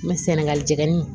Mɛ sɛnɛgali jeni